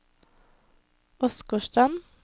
Åsgårdstrand